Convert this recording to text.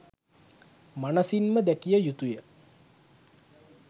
මනසින්ම දැකිය යුතුය.